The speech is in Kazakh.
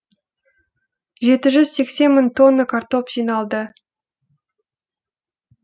жеті жүз сексен мың тонна картоп жиналды